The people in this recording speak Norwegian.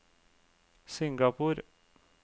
Singapore